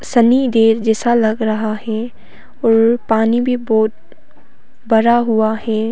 शनि देव जैसा लग रहा है और पानी भी बहोत भरा हुआ है।